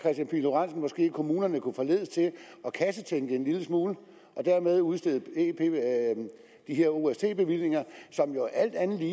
kommunerne måske kunne forledes til at kassetænke en lille smule og dermed udstede de her ost bevillinger som jo alt andet lige